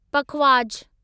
पखवाज